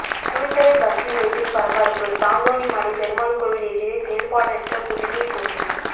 Kulithalai bus நிலையத்தில் பரபரப்பு தாந்தோணிமலை பெருமாள் கோயில் எதிரே செயல்பாடற்ற குடிநீர் தொட்டி